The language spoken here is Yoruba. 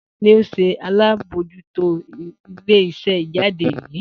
Ta ni o ṣe alabojuto ile-iṣẹ ijade yii?